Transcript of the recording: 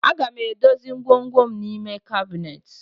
Aga m edozi ngwongwom n'ime kabinet